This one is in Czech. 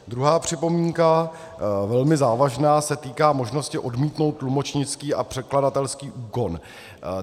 Druhá připomínka, velmi závažná, se týká možnosti odmítnout tlumočnický a překladatelský úkon.